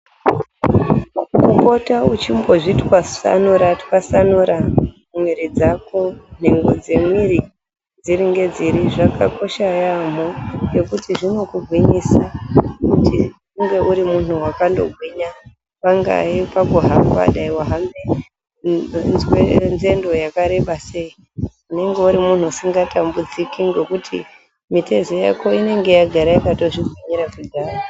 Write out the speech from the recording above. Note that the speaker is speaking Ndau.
Kupota wechimbozvitwasanura twasanura mwiri dzako nhengo dzemwiri dziri ngedziri zvakakosha yaemho ngekuti zvinokugwinyisa kuti unge uri munhu wakandogwinya. Pangaye pakuhamba dangani wanzwe nzendo yakareba sei unenge uri munhu usikatambudziki ngekuti mitezo yako inenge yakandozvigwinyira kudhaya.